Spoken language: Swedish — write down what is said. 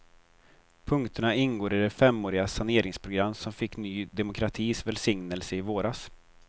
Punkterna ingår i det femåriga saneringsprogram som fick ny demokratis välsignelse i våras.